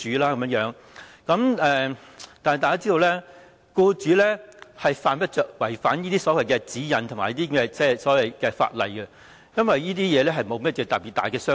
但是，大家也知道，僱主犯不着違反這些所謂指引和法例，因為這些對他來說沒有甚麼特別大傷害。